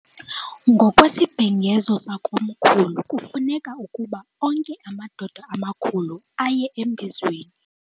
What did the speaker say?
Ngokwesibhengezo sakomkhulu kufuneka ukuba onke amadoda amakhulu aye embizweni.